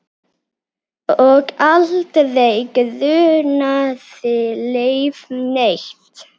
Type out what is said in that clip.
Og aldrei grunaði Leif neitt.